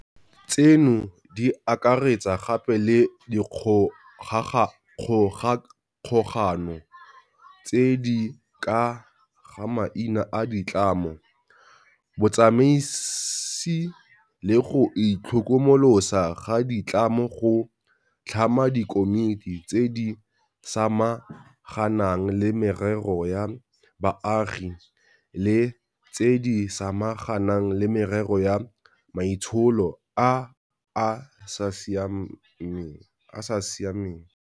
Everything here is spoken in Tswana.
Tseno di akaretsa gape le dikgogakgogano tse di ka ga maina a ditlamo, botsamaisi le go itlhokomolosa ga di tlamo go tlhama dikomiti tse di samaganang le merero ya baagi le tse di samaganang le merero ya maitsholo a a sia meng.